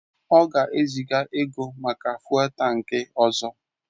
Ọ ga-eziga ego maka fụ́élú tankị ọzọ.